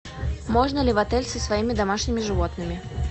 можно ли в отель со своими домашними животными